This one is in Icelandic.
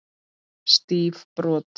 Stíf brot.